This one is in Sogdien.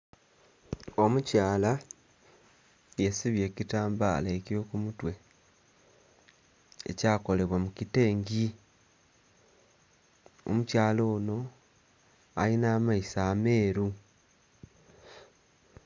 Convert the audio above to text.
Omukyala yesibye ekitambala ekyo kumutwe ekyakolebwa mukitengi, omukyala ono alina amaiso ameeru.